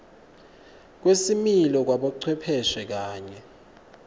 kwesimilo kwabocwepheshe kanye